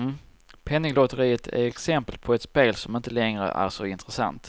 Penninglotteriet är exempel på ett spel, som inte längre är så intressant.